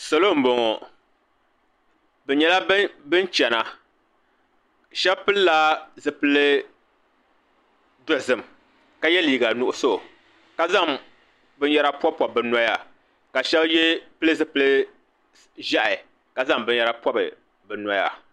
Salo n boŋɔ. Bɛ nyela ban chana. Sheba pilla zipil dozim ka ye liiga nuɣso. Ka zaŋ bin yera pob pobi bɛ noya ka sheba pil zipil ʒɛha ka zaŋ bin yera pob bɛ noya.